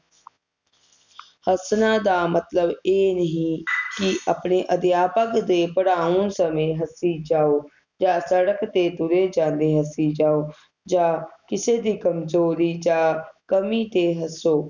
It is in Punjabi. ਹੱਸਣਾ ਦਾ ਮਤਲਬ ਇਹ ਨਹੀਂ ਕਿ ਆਪਣੇ ਅਧਿਆਪਕ ਦੇ ਪੜ੍ਹਾਉਣ ਸਮੇ ਹੱਸੀ ਜਾਓ ਜਾ ਸੜਕ ਤੇ ਤੁਰੇ ਜਾਂਦੇ ਹੱਸੀ ਜਾਓ ਜਾ ਕਿਸੇ ਦੀ ਕਮਜ਼ੋਰੀ ਜਾ ਕਮੀ ਤੇ ਹੱਸੋ